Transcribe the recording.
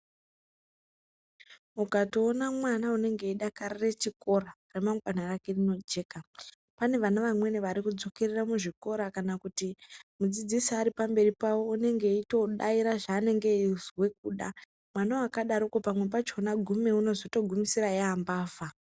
Ukatoona mwana unenge eidakarire chikora, ramangwana rake rinojeka. Pane vana vamweni varikudzokerera muzvikora kana kuti mudzidzisi ari pamberi pavo unenge eitodaire zvaanenge eizwe kuda. Mwana akadaroko pamwe pachona gume unozotopedzisira yaambvavha.